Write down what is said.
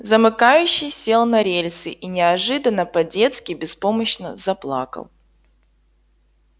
замыкающий сел на рельсы и неожиданно по-детски беспомощно заплакал